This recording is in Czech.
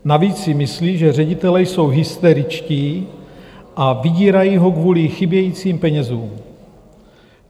Navíc si myslí, že ředitelé jsou hysteričtí a vydírají ho kvůli chybějícím penězům.